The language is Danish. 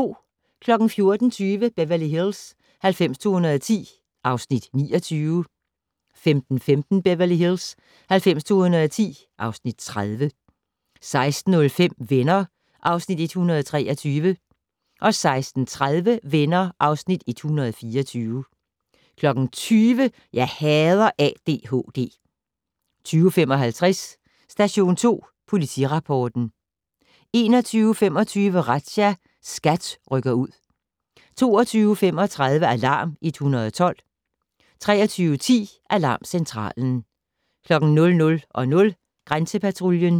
14:20: Beverly Hills 90210 (Afs. 29) 15:15: Beverly Hills 90210 (Afs. 30) 16:05: Venner (Afs. 123) 16:30: Venner (Afs. 124) 20:00: Jeg hader ADHD 20:55: Station 2 Politirapporten 21:25: Razzia - SKAT rykker ud 22:35: Alarm 112 23:10: Alarmcentralen 00:00: Grænsepatruljen